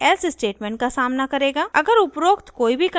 अगर उपरोक्त कोई भी कंडीशन ट्रू नहीं थी